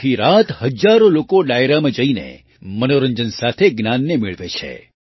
આખી રાત હજારો લોકો ડાયરામાં જઈને મનોરંજન સાથે જ્ઞાનને મેળવે છે